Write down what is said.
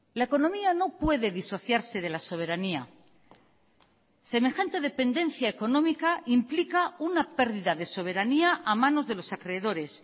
la economía no puede disociarse de la soberanía semejante dependencia económica implica una pérdida de soberanía a manos de los acreedores